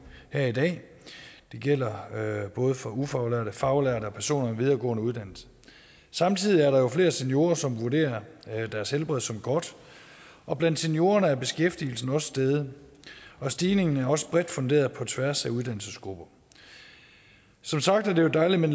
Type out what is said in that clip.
her i dag det gælder både for ufaglærte faglærte og personer med videregående uddannelser samtidig er der jo flere seniorer som vurderer deres helbred som godt og blandt seniorerne er beskæftigelsen også steget stigningen er også bredt funderet på tværs af uddannelsesgrupper som sagt er det jo dejligt med